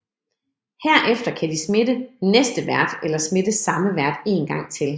Herefter kan de smitte næste vært eller smitte samme vært en gang til